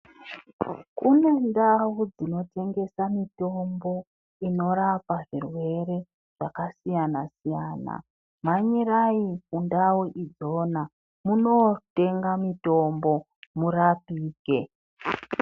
Kune ndau dzinotengesa mitombo inorapa zvirwere zvakasiyana-siyana. Mhanyirai kundau idzona munotenga mitombo murapike.